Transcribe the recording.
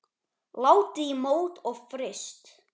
Látið í mót og fryst.